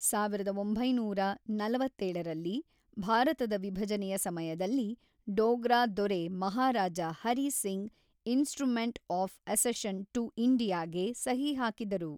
ಸಾವಿರದ ಒಂಬೈನೂರ ನಲವತ್ತೇಳರಲ್ಲಿ ಭಾರತದ ವಿಭಜನೆಯ ಸಮಯದಲ್ಲಿ, ಡೋಗ್ರಾ ದೊರೆ Maharaja Hari Singh instrument of accession to ಇಂಡಿಯಾಗೆ ಸಹಿ ಹಾಕಿದರು.